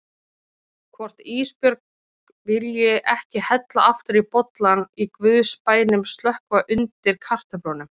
Hvort Ísbjörg vilji ekki hella aftur í bollann og í guðs bænum slökkva undir kartöflunum.